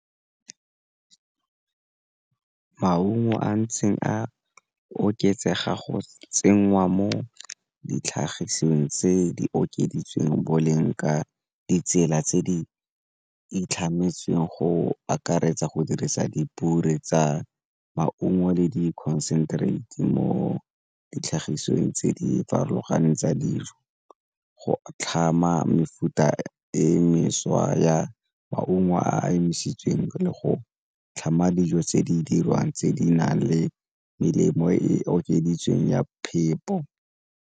Maungo a ntseng a oketsega go tsenngwa mo ditlhagisweng tse di okeditsweng boleng ka ditsela tse di itlhametsweng go akaretsa go dirisa tsa maungo le di mo ditlhagisweng tse di farologaneng tsa dijo go tlhama mefuta e mešwa ya maungo a emisitsweng le go tlhama dijo tse di dirwang tse di nang le melemo e okeditsweng ya phepo.